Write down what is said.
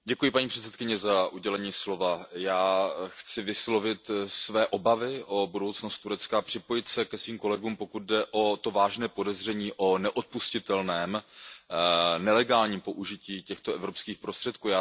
Paní předsedající, já chci vyslovit své obavy o budoucnost Turecka a připojit se ke svým kolegům, pokud jde o to vážné podezření o neodpustitelném, nelegálním použití evropských prostředků.